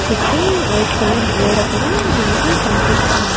చుట్టూ white colour గోడ కూడా మనకి కనిపిస్తుంది--